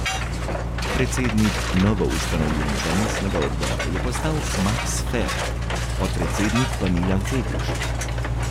Predsednik novoustanovljenega mestnega odbora je postal Maks Ferk, podpredsednik pa Milan Feguš.